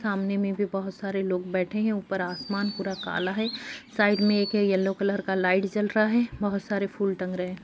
सामने में भी बहुत सारे लोग बैठे हैं ऊपर आसमान पुरा काला है साइड में एक है येलो कलर का लाइट जल रहा है बहुत सारे फूल टंग रहे हैं।